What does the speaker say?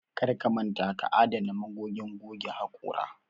Karka manta ka adana magogin goge haƙora